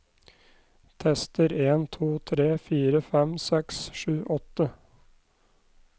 Tester en to tre fire fem seks sju åtte